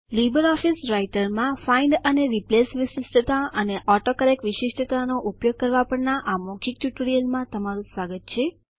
Libre Office રાઈટરમાં find અને replace વિશિષ્ટતા અને ઓટોકરેક્ટ વિશિષ્ટતાનો ઉપયોગ કરવા પરના આ મૌખિક ટ્યુટોરીયલમાં તમારું સ્વાગત છે